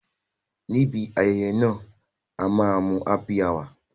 Ní ibi ayẹyẹ náà, a máa mu Happy hour